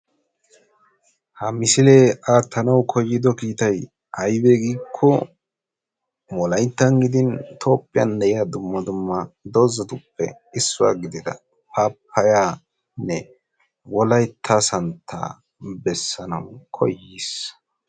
ha misile atiyo kiitay wolayttani gidi harassani de"iyaa paapayane dumma dumma hara dozzata bessanaw koyissi.